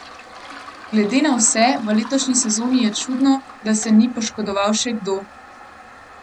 Glede na vse v letošnji sezoni je čudno, da se ni poškodoval še kdo.